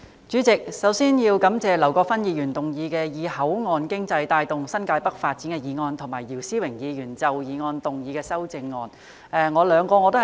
主席，首先我要感謝劉國勳議員提出"以口岸經濟帶動新界北發展"的議案，以及姚思榮議員就議案提出修正案。